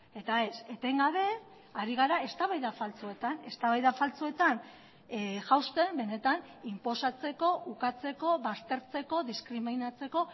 eta ez etengabe ari gara eztabaida faltsuetan eztabaida faltsuetan jauzten benetan inposatzeko ukatzeko baztertzeko diskriminatzeko